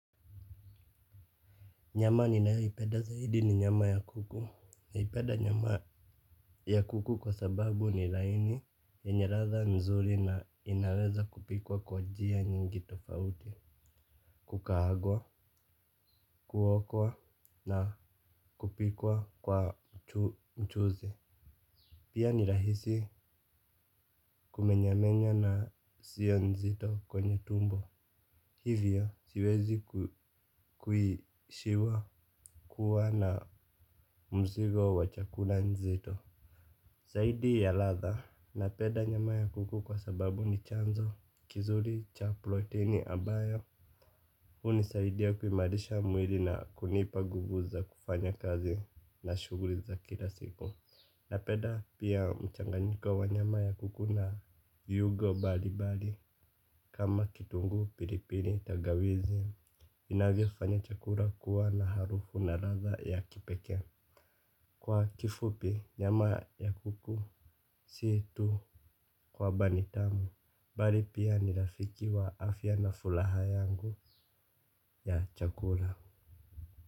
Nyama ninayoipenda zaidi ni nyama ya kuku. Naipenda nyama ya kuku kwa sababu ni laini yenye ladha nzuri na inaweza kupikwa kwa njia nyingi tofauti. Kukaangwa, kuokwa na kupikwa kwa mchuzi. Pia ni rahisi kumenyamenya na siyo nzito kwenye tumbo. Hivyo siwezi kuiishiwa kuwa na mzigo wa chakula nzito. Zaidi ya ladha napenda nyama ya kuku kwa sababu ni chanzo kizuri cha proteni ambayo hunisaidia kuimarisha mwili na kunipa nguvu za kufanya kazi na shughuli za kila siku. Napenda pia mchanganyiko wa nyama ya kuku na viungo mbalimbali kama kitunguu pilipili tangawizi. Inavyofanya chakula kuwa na harufu na ladha ya kipekee. Kwa kifupi nyama ya kuku si tu kwamba ni tamu bali pia ni rafiki wa afya na furaha yangu ya chakula.